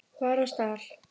var á stall.